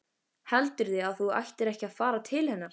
Heldurðu að þú ættir ekki að fara til hennar?